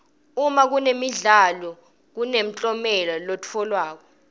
uma kunemidlalo kunemklomelo letfolwako